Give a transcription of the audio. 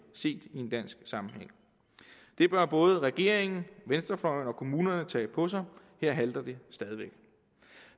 set i en dansk sammenhæng det bør både regeringen venstrefløjen og kommunerne tage på sig her halter det stadig væk